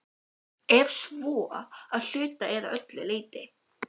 Ef svo, að hluta eða öllu leyti?